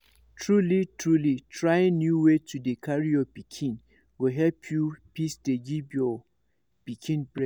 truly truly trying new way to dey carry your pikin go help you fit dey give your pikin breast